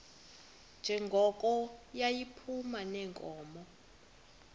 njengoko yayiphuma neenkomo